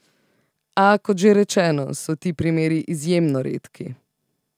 A, kot že rečeno, so ti primeri izjemno redki.